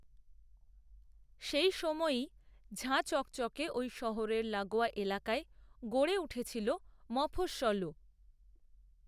সেই সময়েই ঝাঁ চকচকে ওই শহরের লাগোয়া এলাকায় গড়ে উঠেছিল মফস্‌সলও